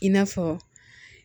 I n'a fɔ